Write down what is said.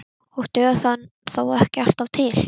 Og dugar það þó ekki alltaf til.